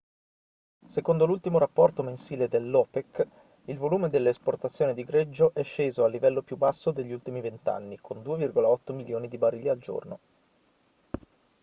secondo l'ultimo rapporto mensile dell'opec il volume delle esportazioni di greggio è sceso al livello più basso degli ultimi vent'anni con 2,8 milioni di barili al giorno